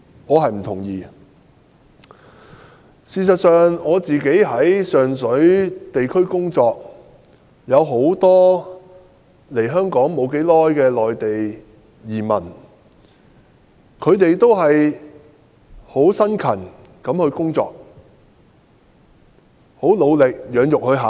我在上水進行地區工作時遇到很多來港不久的內地新移民，他們都辛勤工作，努力養育下一代。